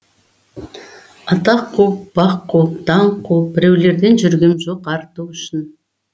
атақ қуып бақ қуып даңқ қуып біреулерден жүргем жоқ арту үшін